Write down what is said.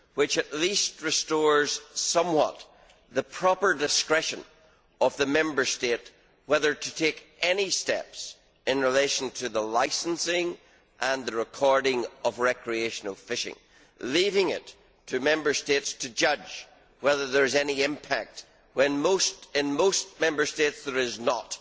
This at least goes some way to restoring the proper discretion of the Member State as to whether to take any steps in relation to the licensing and the recording of recreational fishing, leaving it to Member States to judge whether there is any impact when in most Member States there is not